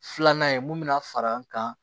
Filanan ye mun mina far'an kan